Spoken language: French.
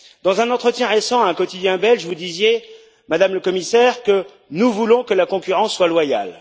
Dans un entretien récent à un quotidien belge, vous disiez, Madame le Commissaire, que nous voulons que la concurrence soit loyale.